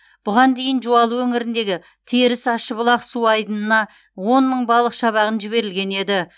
бұған дейін жуалы өңіріндегі теріс ащыбұлақ су айдынына он мың балық шабағын жіберілген еді